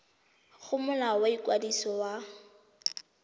go molao wa ikwadiso wa